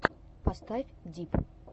поставь дип